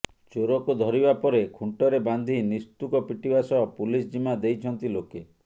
ଚୋରକୁ ଧରିବା ପରେ ଖୁଣ୍ଟରେ ବାନ୍ଧି ନିସ୍ତୁକ ପିଟିବା ସହ ପୁଲିସ୍ ଜିମା ଦେଇଛନ୍ତି ଲୋକେ